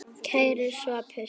Kæri Sophus.